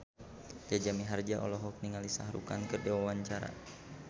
Jaja Mihardja olohok ningali Shah Rukh Khan keur diwawancara